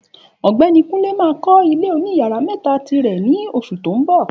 Ògbéni Kunle ma kó ilé oní yàrá mẹ́ta tirè ní oṣù tí o nbọ̀